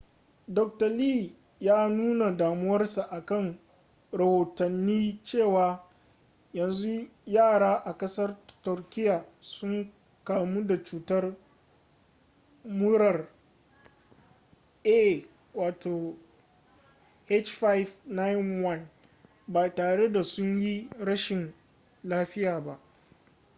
dr. lee ya nuna damuwarsa akan rahotanni cewa yanzu yara a ƙasar turkiya sun kamu da cutar murar ah5n1 ba tare da sun yi rashin lafiya ba